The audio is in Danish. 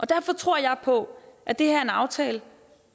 derfor tror jeg på at det her er en aftale